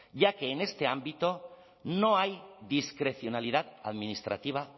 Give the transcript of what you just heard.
ya que en este ámbito no hay discrecionalidad administrativa